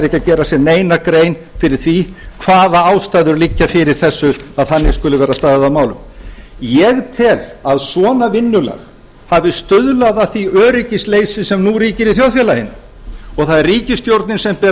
að gera sér neina grein fyrir því hvaða ástæður liggja fyrir þessu að þannig skuli vera staðið að málum ég tel að svona vinnulag hafi stuðlað að því öryggisleysi sem nú ríkir í þjóðfélaginu og það er ríkisstjórnin sem ber